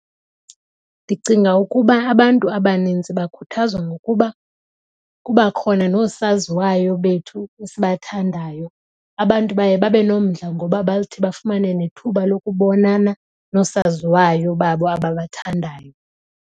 Ndicinga ukuba abantu abanintsi bakhuthazwa ngokuba kuba khona noosaziwayo bethu esibathandayo. Abantu baye babe nomdla ngoba bathi bafumane nethuba lokubonana noosaziwayo babo ababathandayo.